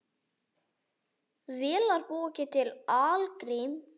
Vélar búa ekki til algrím.